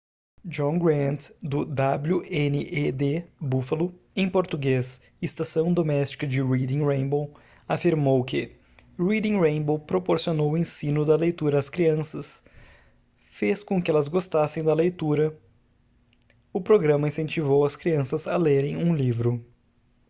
john grant do wned buffalo em português ''estação doméstica de reading rainbow'' afirmou que: reading rainbow proporcionou o ensino da leitura às crianças ... fez com que elas gostassem da leitura - [o programa] incentivou as crianças a lerem um livro.